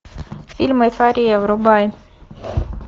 фильм эйфория врубай